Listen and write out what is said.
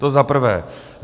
To za prvé.